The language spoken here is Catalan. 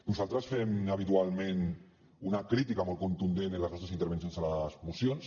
nosaltres fem habitualment una crítica molt contundent en les nostres intervencions a les mocions